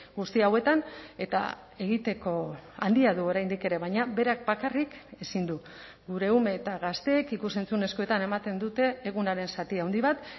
guzti hauetan eta egiteko handia du oraindik ere baina berak bakarrik ezin du gure ume eta gazteek ikus entzunezkoetan ematen dute egunaren zati handi bat